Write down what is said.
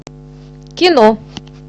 кино